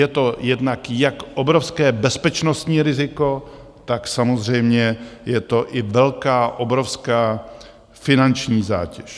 Je to jednak jak obrovské bezpečnostní riziko, tak samozřejmě je to i velká, obrovská finanční zátěž.